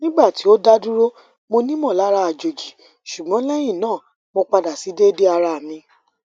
nigba ti o daduro monimolara ajoji sugbon lehina mo pada si dede ara mi